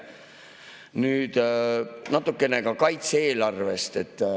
Nüüd natukene ka kaitse-eelarvest.